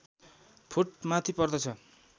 foot माथि पर्दछ